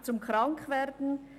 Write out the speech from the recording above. «Zum Krankwerden.